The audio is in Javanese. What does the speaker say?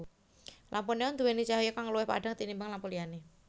Lampu neon nduwéni cahya kang luwih padhang tinimbang lampu liyané